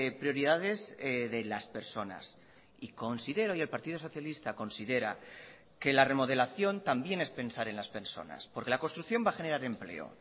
prioridades de las personas y considero y el partido socialista considera que la remodelación también es pensar en las personas porque la construcción va a generar empleo